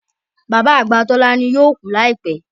Bàbá àgbà Tolani yóò kú láìpẹ́